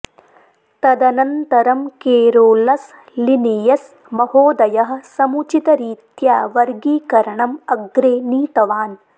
तदनन्तरं Carolus Linnaeus महोदयः समुचितरीत्या वर्गीकरणम् अग्रे नीतवान्